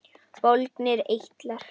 Bólgnir eitlar